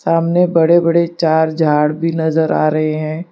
सामने बड़े बड़े चार झाड़ भी नजर आ रहे हैं।